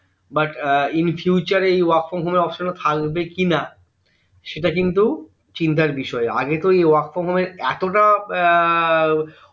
but এ in future এই work from home এর এই option থাকবে কিনা সেটা কিন্তু চিন্তার বিষয় আগে তো work from home এর এতটা এর